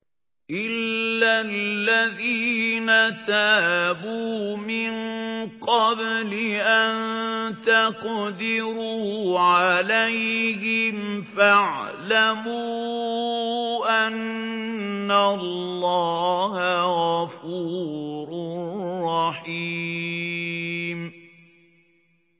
إِلَّا الَّذِينَ تَابُوا مِن قَبْلِ أَن تَقْدِرُوا عَلَيْهِمْ ۖ فَاعْلَمُوا أَنَّ اللَّهَ غَفُورٌ رَّحِيمٌ